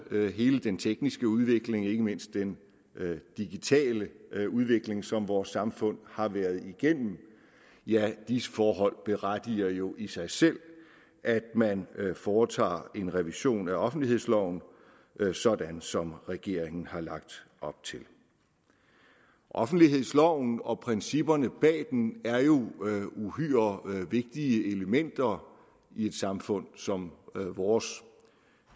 ved hele den tekniske udvikling ikke mindst den digitale udvikling som vores samfund har været igennem ja disse forhold berettiger jo i sig selv at man foretager en revision af offentlighedsloven sådan som regeringen har lagt op til offentlighedsloven og principperne bag den er jo uhyre vigtige elementer i et samfund som vores